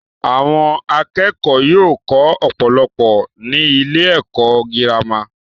Àwọn akẹ́kọ̀ọ́ yóò kọ́ ọ̀pọ̀lọpọ̀ ní ilé-ẹ̀kọ́ girama.